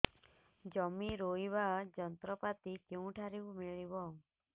ଜମି ରୋଇବା ଯନ୍ତ୍ରପାତି କେଉଁଠାରୁ ମିଳିବ